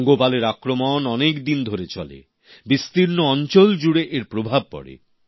পঙ্গপালের আক্রমন অনেকদিন ধরে চলে বিস্তীর্ণ অঞ্চল জুড়ে এর প্রভাব পড়ে